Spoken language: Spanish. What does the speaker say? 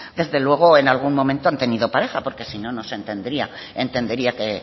desde luego en algún momento han tenido pareja porque si no no se entendería que